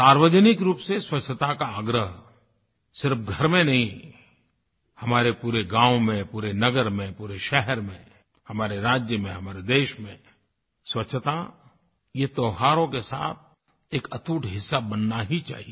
सार्वजनिक रूप से स्वच्छता का आग्रह सिर्फ़ घर में नहीं हमारे पूरे गाँव में पूरे नगर में पूरे शहर में हमारे राज्य में हमारे देश में स्वच्छता ये त्योहारों के साथ एक अटूट हिस्सा बनना ही चाहिये